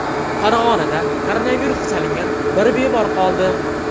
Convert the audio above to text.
Farg‘onada koronavirusga chalingan bir bemor qoldi.